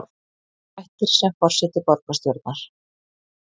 Hættir sem forseti borgarstjórnar